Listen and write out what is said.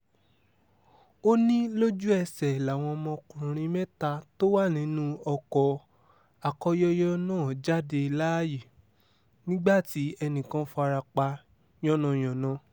ó ní lójú-ẹsẹ̀ làwọn ọmọkùnrin mẹ́ta tó wà nínú ọkọ̀ akóyọyọ náà jáde láàyè nígbà tí ẹnì kan farapa yánnayànna